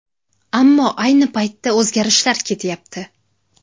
Ammo ayni paytda o‘zgarishlar ketyapti.